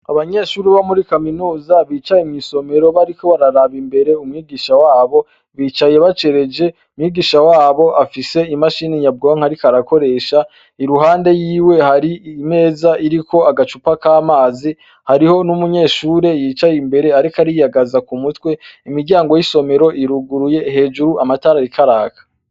Abanyeshuri bo muri kaminuza bicaye mw'isomero bariko bararaba imbere umwigisha wabo bicaye bacereje umwigisha wabo afise imashini nyabwonke, ariko arakoresha i ruhande yiwe hari imeza iriko agacupa k'amazi hariho n'umunyeshure yicaye imbere, ariko ariyagaza ku mutwe imiryango y'isomero iruguruye hejuru amatara rikaraka.